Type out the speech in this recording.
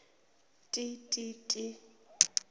ti ti ti